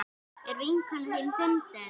Er vinkona þín fundin?